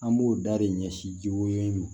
An b'o da de ɲɛsin wele